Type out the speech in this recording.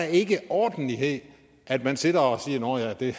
ikke ordentlighed at man sidder og siger nå ja det